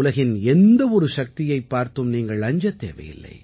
உலகின் எந்த ஒரு சக்தியைப் பார்த்தும் நீங்கள் அஞ்சத் தேவையில்லை